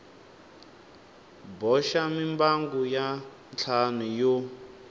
boxa mimbangu ya ntlhanu yo